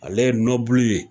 Ale ye ye